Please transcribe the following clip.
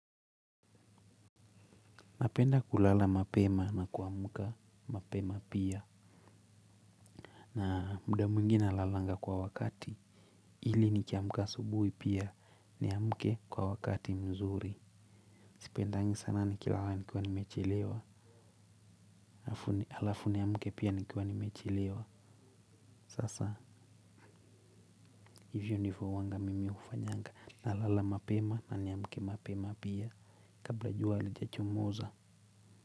Napenda kulala mapema na kuamuka mapema pia. Na muda miungi nalalanga kwa wakati. Hili nikiamuka asubuhi pia niamuke kwa wakati mzuri. Sipendangi sana ni kilala nikiwa nimechelewa. Na alafu niamuke pia nikiwa nimechelewa sasa hivyo ndivyo huanga mimi nafanyanga nalala mapema na naamka mapema kabla jua alijachomoza.